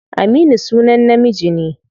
Aminu sunan namiji ne.